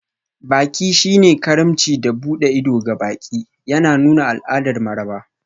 Baƙi shine karimci da buɗe ido ga baƙi, yana nuna al'adar maraba.